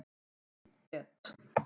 Í et.